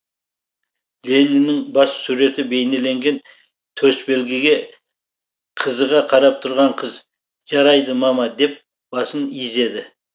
лениннің бас суреті бейнеленген төсбелгіге қызыға қарап тұрған қыз жарайды мама деп басын изеді